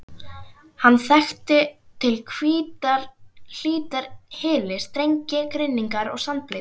Hann þekkti til hlítar hyli, strengi, grynningar og sandbleytur.